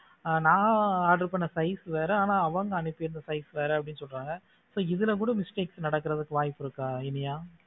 அஹ் நான் order பண்ண size வேற ஆனா அவங்க அனுப்பி இருந்த size வேற அப்படின்னு சொன்னாங்க இப்ப இதுல கூட mistakes நடக்கிறதுக்கு வாய்ப்பு இருக்கா இனியா?